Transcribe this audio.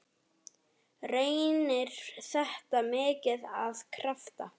Reynir þetta mikið á krafta?